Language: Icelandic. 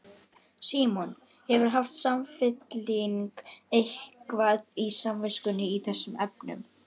Símon: Hefur Samfylkingin eitthvað á samviskunni í þessum efnum?